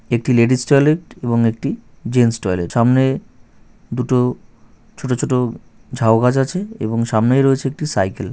একটি ladies toilet এবং একটি জেন্টস টয়লেট সামনে দুটো ছোট ছোট ঝাউ গাছ আছে এবং সামনেই রয়েছে একটি সাইকেল ।